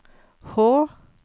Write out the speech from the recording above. H